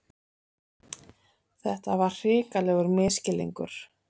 Þetta var hrikalegur misskilningur!